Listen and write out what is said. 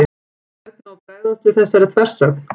Hvernig á að bregðast við þessari þversögn?